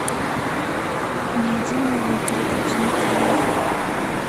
найди новые передачи на тв